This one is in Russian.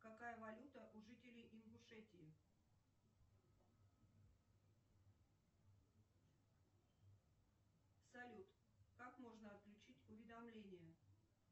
какая валюта у жителей ингушетии салют как можно отключить уведомления